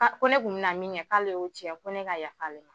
ko ne tun bɛna min kɛ k'ale y'o tiɲɛ ko ne ka yaf'ale ma